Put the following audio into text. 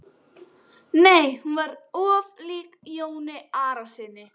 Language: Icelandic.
Nei, hún var of lík Jóni Arasyni.